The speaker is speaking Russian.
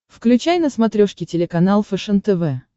включай на смотрешке телеканал фэшен тв